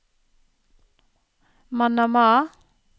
Manama